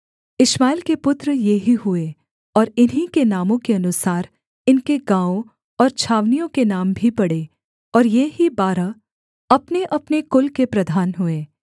इश्माएल के पुत्र ये ही हुए और इन्हीं के नामों के अनुसार इनके गाँवों और छावनियों के नाम भी पड़े और ये ही बारह अपनेअपने कुल के प्रधान हुए